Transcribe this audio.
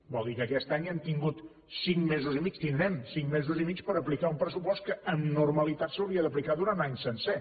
vol dir que aquest any hem tingut cinc mesos i mig tindrem cinc mesos i mig per a aplicar un pressupost que amb normalitat s’hauria d’aplicar durant un any sencer